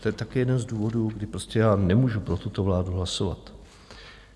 To je také jeden z důvodů, kdy prostě já nemůžu pro tuto vládu hlasovat.